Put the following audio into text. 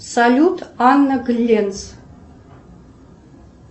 салют анна гленц